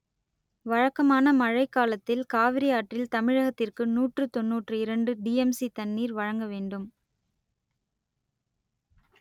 வழக்கமான மழைக் காலத்தில் காவிரி ஆற்றில் தமிழகத்திற்கு நூற்று தொன்னூற்று இரண்டு டிஎம்சி தண்ணீர் வழங்க வேண்டும்